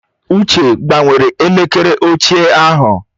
Uche gbanwere elekere ochie ahụ.